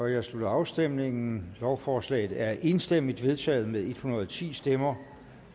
jeg slutter afstemningen lovforslaget er enstemmigt vedtaget med en hundrede og ti stemmer